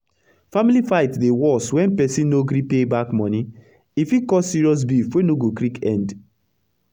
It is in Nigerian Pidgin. family fight dey worse wen persin no gree pay back moni e fit cos serious beef wey no go quick end